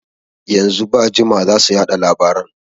Yanzu ba jima zasu yaɗa labaran